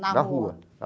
Na rua.